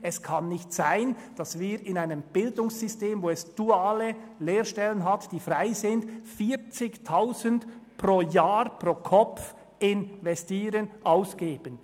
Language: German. Es kann nicht sein, dass wir in einem Bildungssystem, in dem es freie duale Lehrstellen gibt, 40 000 Franken pro Jahr und Kopf für Vollzeitausbildungen ausgeben.